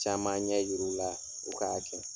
Caman ɲɛ yir'u la k'a kɛ.